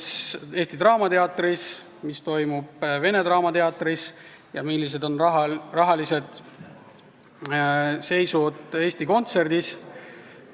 Mis toimub Eesti Draamateatris, mis toimub Vene Teatris ja milline rahaline seis on Eesti Kontserdis.